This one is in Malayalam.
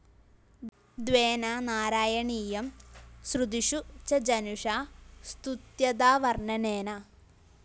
ദ്വേധാ നാരായണീയം ശ്രുതിഷു ച ജനുഷാ സ്തുത്യതാവര്‍ണ്ണനേന